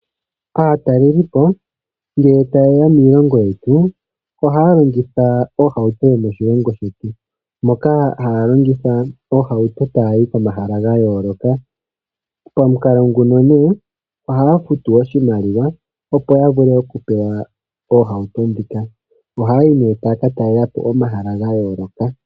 Aatalelipo ngele ta yeya miilongo yetu ohaa longitha oohauto yomoshilongo shetu, moka haya longitha oohauto taa yi komahala gayooloka, pamukalo nguno nee ohaya futu oshimaliwa opo yavule okupewa oohauto dhika. Ohaa yi nee taaka talelapo omahala gayooloka.